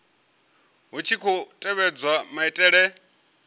hu tshi khou tevhedzwa maitele